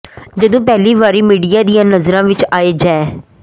ਜਦੋਂ ਪਹਿਲੀ ਵਾਰੀ ਮੀਡੀਆ ਦੀਆਂ ਨਜ਼ਰਾਂ ਵਿੱਚ ਆਏ ਜੈਅ